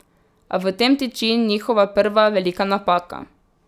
A v tem tiči njihova prva velika napaka.